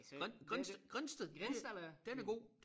Grindsted Grindsted den er god